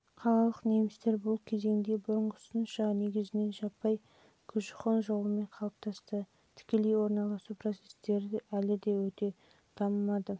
қалалық немістер бұл кезеңде бұрынғысынша негізінен жаппай көшіқон жолымен қалыптасты тікелей орналасу процестері әлі де өте